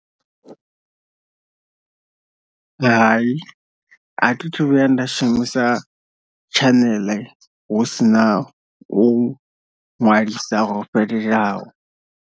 Hai a thi thu vhuya nda shumisa channel hu si na u nwalisa ho fhelelaho.